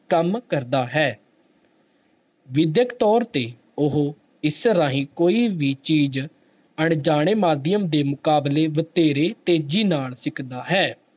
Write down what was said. ਕੰਮ ਕਰਦਾ ਹੈ ਵਿਦਿਅਕ ਤੌਰ ਤੇ ਉਹ ਇਸ ਰਾਹੀਂ ਕੋਈ ਵੀ ਚੀਜ਼ ਅਣਜਾਣੇ ਮਾਧਿਅਮ ਦੇ ਮੁਕਾਬਲੇ ਵਧੇਰੇ ਤੇਜ਼ੀ ਨਾਲ ਸਿੱਖਦਾ ਹੈ।